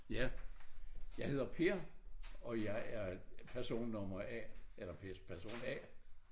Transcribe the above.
Ja jeg hedder Per og jeg er person nummer A eller person A